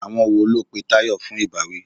Àwọn wo ló pe Tayọ fún ìbáwí?